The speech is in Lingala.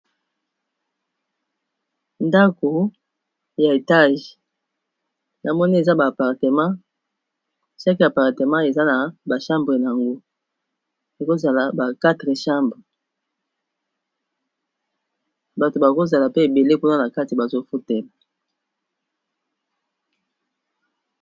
ndako ya etage na moni eza baapartemat 6e apartemat eza na bachambre yango ekozala ba 4e chambre bato bakozala pe ebele kuna na kati bazofutela